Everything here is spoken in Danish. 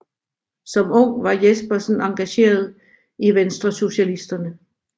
Som ung var Jespersen engageret i Venstresocialisterne